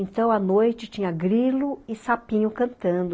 Então, à noite, tinha grilo e sapinho cantando.